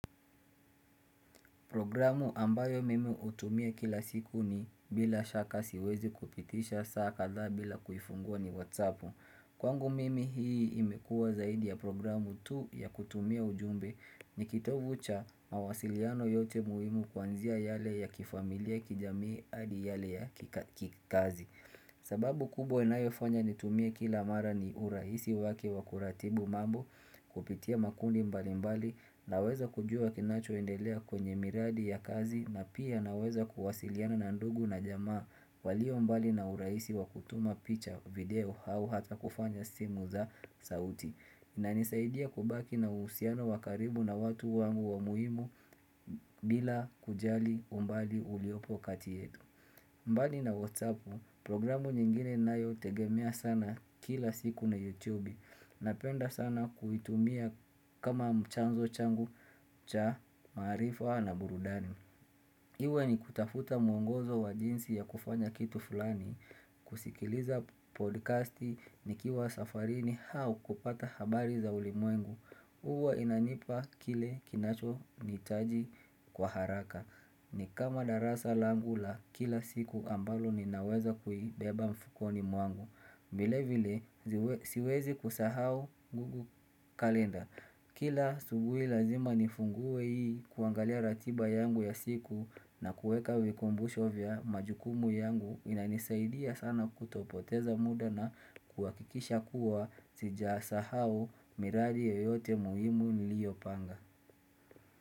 Programu ambayo mimi utumia kila siku ni bila shaka siwezi kupitisha saa kadha bila kuifungua ni whatsappu. Kwangu mimi hii imekua zaidi ya programu tu ya kutumia ujumbe ni kitovu cha mawasiliano yote muhimu kwanzia yale ya kifamilia kijamii hadi yale ya kikazi. Sababu kubwa inayo fanya nitumie kila mara ni urahisi wake wa kuratibu mambo kupitia makundi mbali mbali Naweza kujua kinacho endelea kwenye miradi ya kazi na pia naweza kuwasiliana na ndugu na jamaa walio mbali na urahisi wakutuma picha video au hata kufanya simu za sauti inanisaidia kubaki na uhusiano wa karibu na watu wangu wa muhimu bila kujli umbali uliopo kati yetu mbali na whatsappu programu nyingine nayo tegemea sana kila siku na youtube na penda sana kuitumia kama mchanzo changu cha maarifa na burudani Iwe ni kutafuta mwongozo wa jinsi ya kufanya kitu fulani kusikiliza podcasti ni kiwa safarini au kupata habari za ulimwengu Uwa inanipa kile kinacho nihitaji kwa haraka ni kama darasa langu la kila siku ambalo ninaweza kuibeba mfukoni mwangu vile vile siwezi kusahau gugu kalenda Kila asubuhi lazima nifungue hii kuangalia ratiba yangu ya siku na kuweka vikumbusho vya majukumu yangu inanisaidia sana kutopoteza muda na kuwakikisha kuwa sijasahau miradi yoyote muhimu niliopanga.